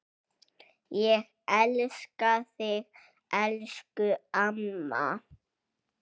Ég elska þig, elsku amma.